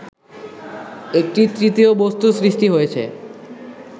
একটি তৃতীয় বস্তুর সৃষ্টি হয়েছে